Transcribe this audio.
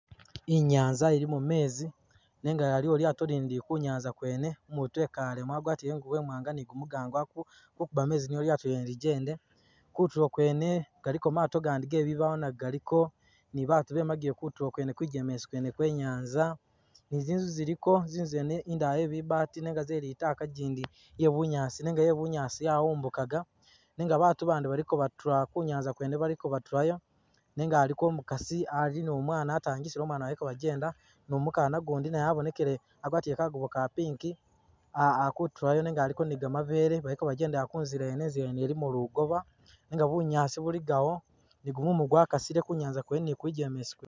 Inyanza ilimo mezi nenga aliwo lyato lindi kunyanza kwene , umutu ekalemo agwatile ingubo imwanga nigumugango akukuba mezi niyo lyado lyene lijende ,kutulo kwene galiko maado gandi gebibawo nago galiko ni batu bemile kutulo kwene kwijemesi kwe nyaza ni zizu ziliko zizu zene indala yebi’bati nenga zeli’taaka gindi yebu nyaasi nenga ye’bunyaasi yawumbukaga nenga batu bandi baliko batula ku nyanza kwene baliko batulayo nenga aliko omukasi ali ni umwana atangisile umwana baliko bajenda ni umukana gundi abonekele agwatile kagubo ka pink akutulayo nenga aliko ni gamabele baliko bajendela kuzila yene inzila yene ilimo lugoba nenga bunyaasi buligawo ni gumumu gwakasile kunyaza kwene ni kulujemesi kwene.